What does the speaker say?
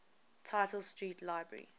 tite street library